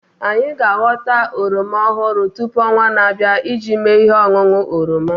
Anyị ga aghọta oroma ọhụrụ tupu onwaa na-abịa iji mee ihe ọṅụṅụ oroma